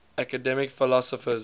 academic philosophers